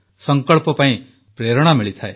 ସଂକଳ୍ପ ପାଇଁ ପ୍ରେରଣା ମିଳେ